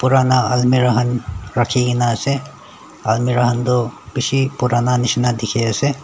burana almira kan raki kina ase almira kan tu bishi burana nishina dikhiase ase.